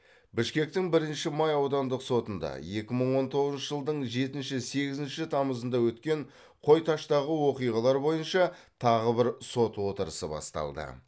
бішкектің бірінші май аудандық сотында екі мың он тоғызыншы жылдың жетінші сегізінші тамызында өткен қой таштағы оқиғалар бойынша тағы бір сот отырысы басталды